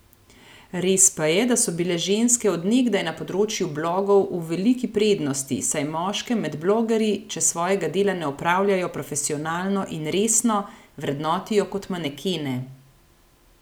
Res pa je da so bile ženske od nekdaj na področju blogov v veliki prednosti, saj moške med blogerji, če svojega dela ne opravljajo profesionalno in resno, vrednotijo kot manekene.